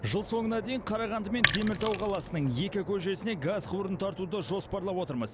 жыл соңына дейін қарағанды мен теміртау қаласының екі көшесіне газ құбырын тартуды жоспарлап отырмыз